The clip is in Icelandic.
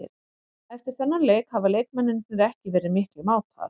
Eftir þennan leik hafa leikmennirnir ekki verið miklir mátar.